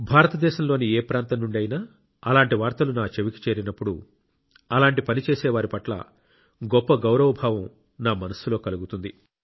భారతదేశంలోని ఏ ప్రాంతం నుండి అయినా అలాంటి వార్తలు నా చెవికి చేరినప్పుడు అలాంటి పని చేసే వారి పట్ల గొప్ప గౌరవభావం నా మనస్సులో కలుగుతుంది